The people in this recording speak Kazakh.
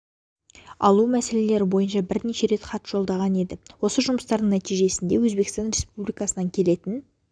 алу мәселелері бойынша бірнеше рет хат жолдаған еді осы жұмыстардың нәтижесі ретінде өзбекстан республикасынан келетін